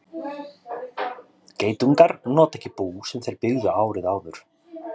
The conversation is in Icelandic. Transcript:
Geitungar nota ekki bú sem þeir byggðu árið áður.